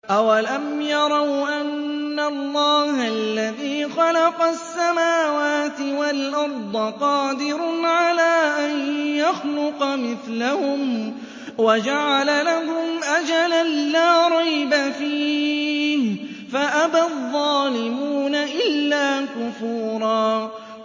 ۞ أَوَلَمْ يَرَوْا أَنَّ اللَّهَ الَّذِي خَلَقَ السَّمَاوَاتِ وَالْأَرْضَ قَادِرٌ عَلَىٰ أَن يَخْلُقَ مِثْلَهُمْ وَجَعَلَ لَهُمْ أَجَلًا لَّا رَيْبَ فِيهِ فَأَبَى الظَّالِمُونَ إِلَّا كُفُورًا